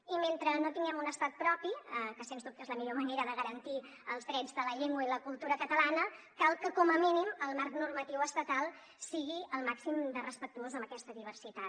i mentre no tinguem un estat propi que sens dubte és la millor manera de garantir els drets de la llengua i la cultura catalanes cal que com a mínim el marc normatiu estatal sigui el màxim de respectuós amb aquesta diversitat